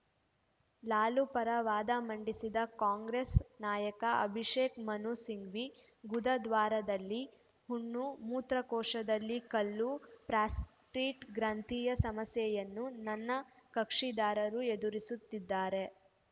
ಲಾಲು ಪರ ವಾದ ಮಂಡಿಸಿದ ಕಾಂಗ್ರೆಸ್‌ ನಾಯಕ ಅಭಿಷೇಕ್‌ ಮನು ಸಿಂಘ್ವಿ ಗುದದ್ವಾರದಲ್ಲಿ ಹುಣ್ಣು ಮೂತ್ರಕೋಶದಲ್ಲಿ ಕಲ್ಲು ಪ್ರಾಸ್ಟೇಟ್‌ ಗ್ರಂಥಿಯ ಸಮಸ್ಯೆಯನ್ನು ನನ್ನ ಕಕ್ಷಿದಾರರು ಎದುರಿಸುತ್ತಿದ್ದಾರೆ